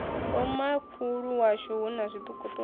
vhomakhulu washu hu na zwiṱukuṱuku